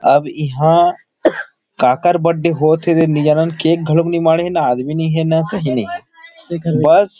अब इहां काकर बर्थडे होत थे के नई हे नई जानन केक घलोक नहीं माढ़े न आदमी नई हे न कही नई हे बस--